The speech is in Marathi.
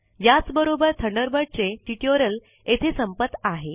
याच बरोबर थंडरबर्ड चे ट्यूटोरियल येथे संपत आहे